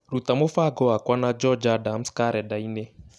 ruta mũbango wakwa na George Adams karenda-inĩ